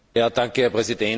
Herr Präsident!